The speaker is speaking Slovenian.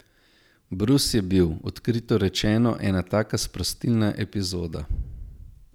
Brus je bil, odkrito rečeno, ena taka sprostilna epizoda.